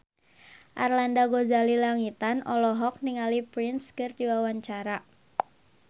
Arlanda Ghazali Langitan olohok ningali Prince keur diwawancara